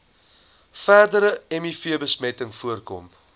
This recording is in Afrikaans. verdere mivbesmetting voorkom